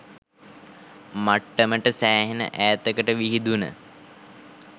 මට්ටමට සෑහෙන ඈතකට විහිදුණ